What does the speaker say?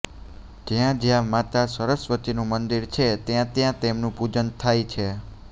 જ્યાં જ્યાં માતા સરસ્વતીનું મંદિર છે ત્યાં ત્યાં તેમનું પૂજન થાય છે